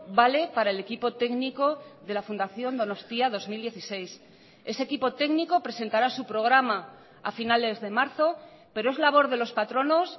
vale para el equipo técnico de la fundación donostia dos mil dieciséis ese equipo técnico presentara su programa a finales de marzo pero es labor de los patronos